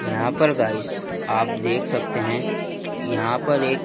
यहां पर गाइस आप देख सकते हैं यहां पर एक--